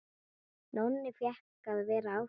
Nonni fékk að vera áfram.